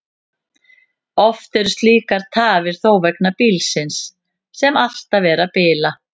Oftar eru slíkar tafir þó vegna bílsins, sem alltaf er að bila.